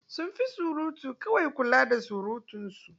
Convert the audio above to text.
Sun fi surutu kawai, kula da surutunsu.